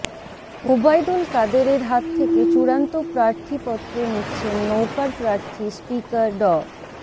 ওবায়দুল কাদেরের হাত থেকে চূড়ান্ত প্রার্থীপত্র নিচ্ছেন নৌকার প্রার্থী স্পিকার ড